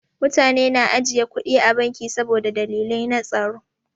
Mutane na ajiye kuɗi a banki saboda dalilai na tsaro.